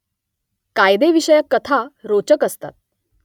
कायदेविषयक कथा रोचक असतात